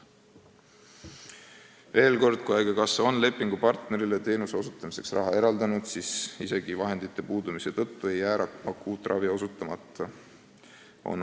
" Veel kord, kui haigekassa on lepingupartnerile teenuse osutamiseks raha eraldanud, siis isegi vahendite puudumise tõttu ei jää akuutravi osutamata.